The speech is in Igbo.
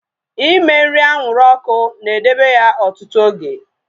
Ime nri anwụrụ ọkụ na edebe ya ọtụtụ oge